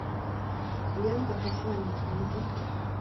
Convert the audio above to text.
лента посланники найди